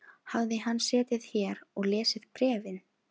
Hafði hann setið hér og lesið bréfin?